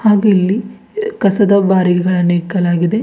ಹಾಗು ಇಲ್ಲಿ ಕಸದ ಬಾರಿಗಳನ್ನು ಇಕ್ಕಲಾಗಿದೆ.